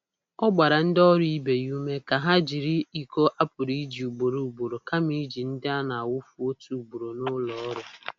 Ọ gbara ndị ọrụ ibe ya ume ka ha jiri iko a pụrụ iji ugboro ugboro kama iji ndị a na-awụfu otu ugboro n’ụlọ ọrụ.